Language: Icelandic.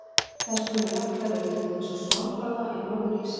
Þess konar jöklar eru til dæmis á Svalbarða í Norður-Íshafi.